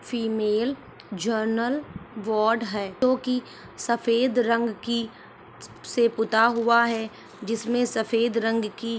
female general ward है जो की सफ़ेद रंग की से पुता हुआ है जिसमे सफ़ेद रंग की--